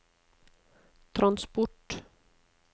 transport